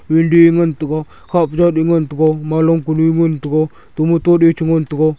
bhildi a ngan taiga khapja du ngan taiga malong kanu ngan taiga tomato a chengan taiga.